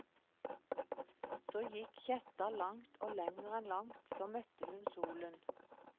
Så gikk kjetta langt og lenger enn langt, så møtte hun solen.